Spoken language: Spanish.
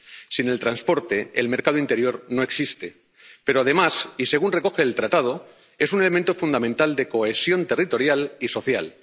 Sin el transporte, el mercado interior no existe, pero, además y según recoge el Tratado, es un elemento fundamental de cohesión territorial y social.